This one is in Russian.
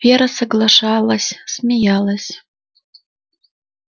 вера соглашалась смеялась